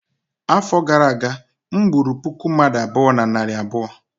afọ gara aga, m gburu puku mmadu abụọ na narị abụọ